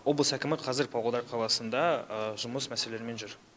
облыс әкімі қазір павлодар қаласында жұмыс мәселелерімен жүр